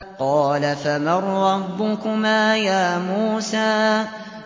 قَالَ فَمَن رَّبُّكُمَا يَا مُوسَىٰ